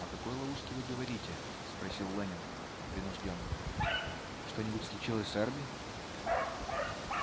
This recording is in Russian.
о какой ловушке вы говорите спросил лэннинг принуждённо что-нибудь случилось с эрби